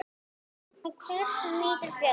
Og hvers nýtur þjóðin?